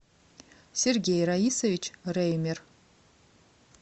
сергей раисович реймер